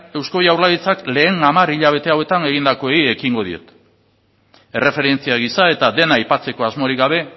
eusko jaurlaritzak lehen hamar hilabete hauetan egindakoei ekingo diet erreferentzia gisa eta dena aipatzeko asmorik gabe